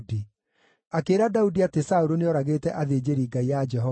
Akĩĩra Daudi atĩ Saũlũ nĩoragĩte athĩnjĩri-Ngai a Jehova.